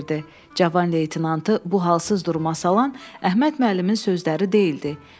Cavan leytenantı bu halsız duruma salan Əhməd müəllimin sözləri deyildi.